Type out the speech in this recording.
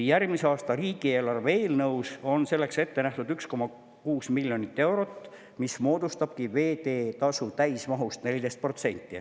Järgmise aasta riigieelarve eelnõus on selleks ette nähtud 1,6 miljonit eurot, mis moodustabki veeteetasu täismahust 14%.